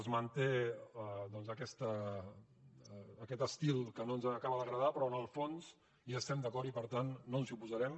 es manté doncs aquest estil que no ens acaba d’agradar però en el fons hi estem d’acord i per tant no ens hi oposarem